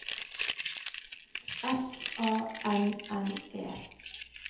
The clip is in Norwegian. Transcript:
S A N N E